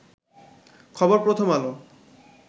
খবর প্রথম আলো